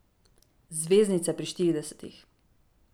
Zvezdnice pri štiridesetih.